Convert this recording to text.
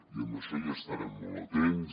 i en això estarem molt atents